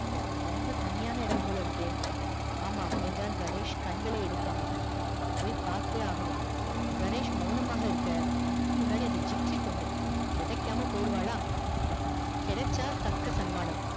ரொம்ப தனியான இடம் போலருக்கே ஆமம் என்றான் கணேஷ் கண்களை எடுக்காமல் போய் பாத்தே ஆகணும் கணேஷ் மெளனமாக இருக்க அதுக்கு முன்னாடி அந்த gypsy பொண்ணு கெடைக்காம போயிருவாளா கெடச்சா தக்க சன்மானம்